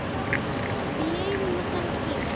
Við lifum á þannig tímum.